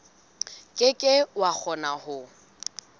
ke ke wa kgona ho